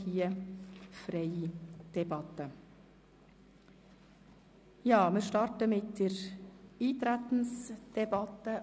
Hier führen wir eine freie Debatte und beginnen mit der Eintretensdebatte.